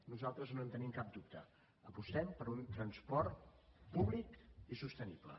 nosaltres no en tenim cap dubte apostem per un transport públic i sostenible